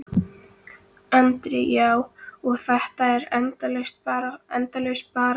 Andri: Já, og þetta er endalaus barátta?